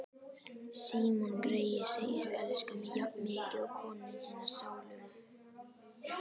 Símon greyið segist elska mig jafnmikið og konuna sína sálugu.